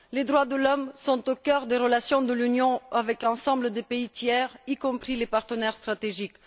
Les droits de l'homme sont au cœur des relations de l'Union avec l'ensemble des pays tiers, y compris les partenaires stratégiques.